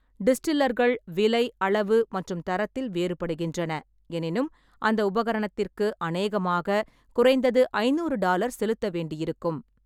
டிஸ்டில்லர்கள் விலை, அளவு மற்றும் தரத்தில் வேறுபடுகின்றன, எனினும் அந்த உபகரணத்திற்கு அநேகமாக குறைந்தது ஐந்நூறு டாலர் செலுத்த வேண்டியிருக்கும்.